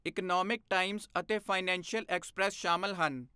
Economic Times ਅਤੇ Financial Express ਸ਼ਾਮਲ ਹਨ।